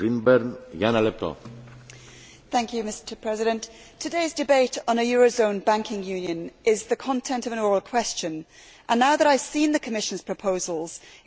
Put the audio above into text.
Mr President, today's debate on a euro zone banking unit is the content of an oral question and now even though I have seen the Commission's proposals it seems all I still have are questions.